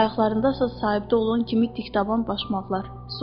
Ayaqlarında isə sahibdə olan kimi dikdabanlaşmaq var.